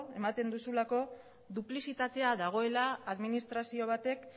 ematen duzulako duplizitatea dagoela administrazio batek